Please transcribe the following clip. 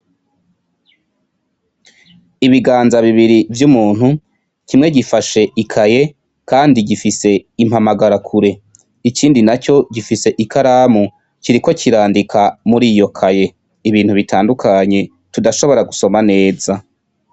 Ibiganza bibiri vy'umuntu, kimwe gifashe ikaye kandi gifise impamagarakure. Ikindi naco gifise ikaramu, kiriko kirandika muri iyo kaye ibintu bitandukanye tudashobora gusoma neza.